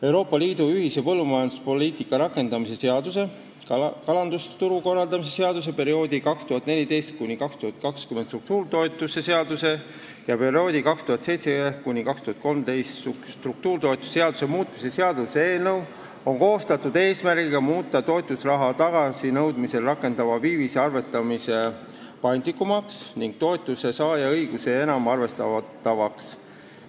Euroopa Liidu ühise põllumajanduspoliitika rakendamise seaduse, kalandusturu korraldamise seaduse, perioodi 2014–2020 struktuuritoetuse seaduse ja perioodi 2007–2013 struktuuritoetuse seaduse muutmise seaduse eelnõu on koostatud eesmärgiga muuta toetusraha tagasinõudmisel rakenduva viivise arvestamine paindlikumaks ning toetuse saaja õigusi enam arvestavaks.